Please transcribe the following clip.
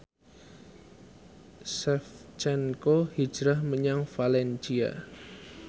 Shevchenko hijrah menyang valencia